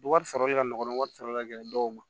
Wari sɔrɔli ka nɔgɔ wari sɔrɔli ka gɛlɛn dɔw ma